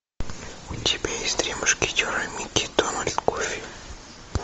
у тебя есть три мушкетера микки дональд гуффи